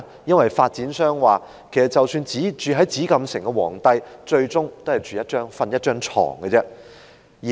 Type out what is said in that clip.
因為發展商說即使居於紫禁城的皇帝最終都只是睡在一張床上。